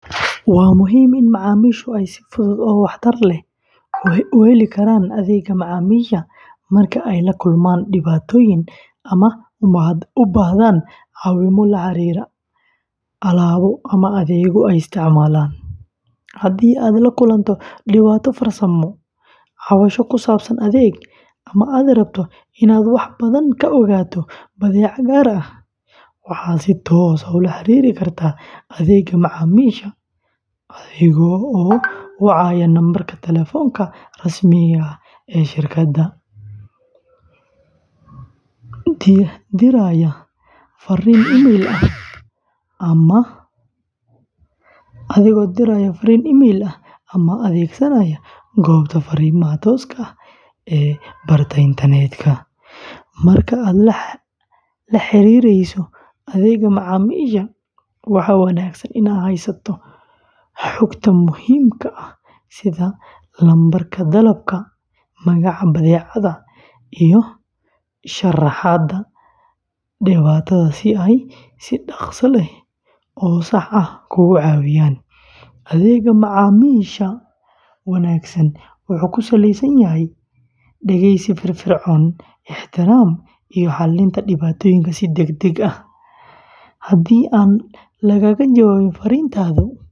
Waa muhiim in macaamiishu ay si fudud oo waxtar leh u heli karaan adeegga macaamiisha marka ay la kulmaan dhibaatooyin ama u baahdaan caawimo la xiriirta alaabo ama adeeg ay isticmaalaan. Haddii aad la kulanto dhibaato farsamo, cabasho ku saabsan adeeg, ama aad rabto inaad wax badan ka ogaato badeecad gaar ah, waxaad si toos ah ula xiriiri kartaa adeegga macaamiisha adiga oo wacaya lambarka taleefanka rasmiga ah ee shirkadda, diraya farriin emayl ah, ama adeegsanaya goobta fariimaha tooska ah ee barta internetka. Marka aad la xiriireyso adeegga macaamiisha, waxaa wanaagsan inaad haysato xogta muhiimka ah sida lambarka dalabka, magaca badeecadda, iyo sharaxaadda dhibaatada si ay si dhakhso leh oo sax ah kuugu caawiyaan. Adeegga macaamiisha wanaagsan wuxuu ku salaysan yahay dhegeysi firfircoon, ixtiraam, iyo xallinta dhibaatooyinka si degdeg ah. Haddii aan lagaaga jawaabin farriintaadii.